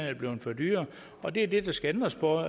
er blevet for dyre og det er det der skal ændres på